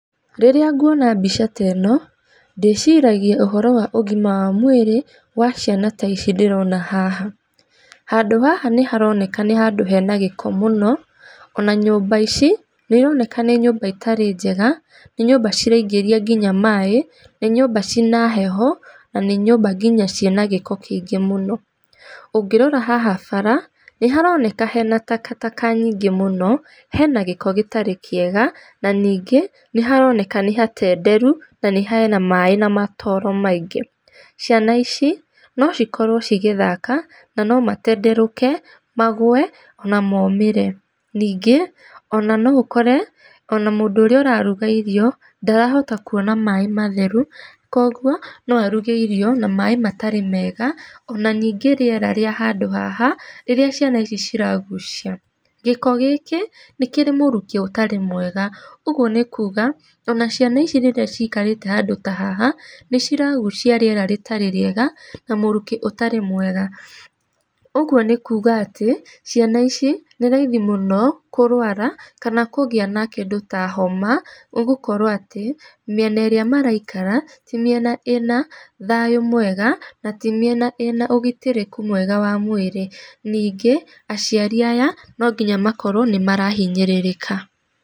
Rirĩa nguona mbica teno, ndĩciragia ũhoro wa ũgima wa mwĩrĩ wa ciana ta ici ndĩrona haha. Handũ haha nĩ haroneka nĩ handũ hena gĩko mũno, ona nyũmba ici nĩ ironeka nĩ nyũmba itarĩ njega, nĩ nyũmba ciraingĩria nginya maĩ, nĩ nyũmba ciĩna heho, na nĩ nyũmba nginya ciĩna gĩko kĩngĩ mũno. Ũngĩrora haha bara nĩ haroneka hena takataka nyingĩ mũno, hena gĩko gũtarĩ kĩega na ningĩ na haroneka nĩ hatenderu, na hena maĩ na matooro maingĩ. Ciana ici no cikorwo cigĩthaka na no matenderũke magũe ona momĩre. Ningĩ ona no ũkore ona, mũndũ ũrĩa ũraruga irio ndarahota kuona maĩ matheru koguo no aruge irio na maĩ matarĩ mega, ona ningĩ rĩera rĩa handũ haha rĩrĩa ciana ici ciragucia. Gĩko gĩkĩ nĩ kĩrĩ mũrukĩ ũtarĩ mwega, ũguo nĩ kuuga ona ciana ici rĩrĩa cikarĩte handũ ta haha nĩ ciragucia rĩera rĩtarĩ rĩega na mũrukĩ ũtarĩ mwega. Ũguo nĩ kuga atĩ ciana ici nĩ raithi mũno kũrũara kana kũgĩa na kĩndũ ta homa nĩ gũkorwo atĩ, mĩena ĩrĩa maraikara ti mĩena ĩna thayu mwega, na ti mĩena ĩna ũgitĩrĩku mwega wa mwĩrĩ. Ningĩ aciari aya no nginya makorwo nĩ marahinyĩrĩrĩka.